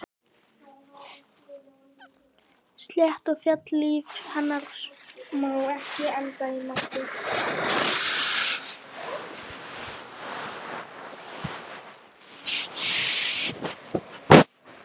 Slétt og fellt líf hennar má ekki enda í martröð.